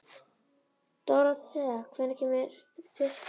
Dorothea, hvenær kemur tvisturinn?